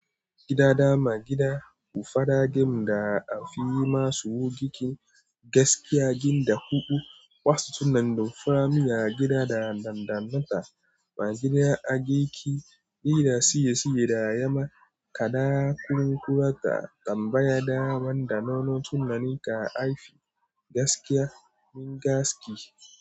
Gidada magida bu fada gem da afi yi ma suwo giki gaskiya gin da hubu wasu tunnan dumfami ya gida da dandannata. Magida ageki dida siye siye da yama ka da kun kurata tambaya daman da nono tunnani ka afi gaskiya min gaski.